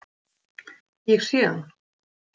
Ég sé hann.